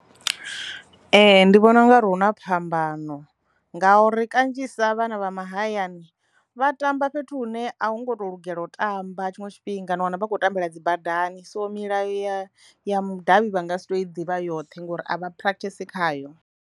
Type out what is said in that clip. Ee, ndi vhona ungari hu na phambano ngauri kanzhisa vhana vha mahayani vha tamba fhethu hune a hu ngo to lugela u tamba tshiṅwe tshifhinga na wana vha khou tambela dzi badani, so milayo ya ya mudavhi vha nga si tu i ḓivha yoṱhe ngori avha practice khayo.